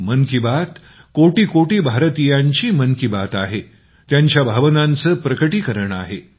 मन की बात कोटी कोटी भारतीयांची मन की बात आहे त्यांच्या भावनांचं प्रकटीकरण आहे